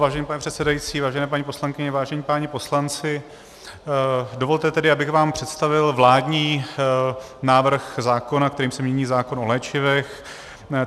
Vážený pane předsedající, vážené paní poslankyně, vážení páni poslanci, dovolte tedy, abych vám představil vládní návrh zákona, kterým se mění zákon o léčivech.